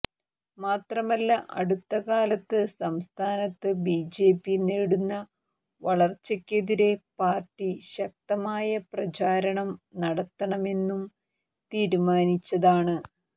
മാത്രമല്ല അടുത്തകാലത്ത് സംസ്ഥാനത്ത് ബിജെപി നേടുന്ന വളർച്ചയ്ക്കെതിരെ പാർട്ടി ശക്തമായ പ്രചാരണം നടത്തണമെന്നും തീരുമാനിച്ചതാണ്